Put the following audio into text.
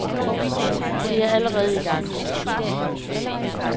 Det er allerede i gang.